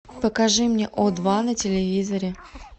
покажи мне о два на телевизоре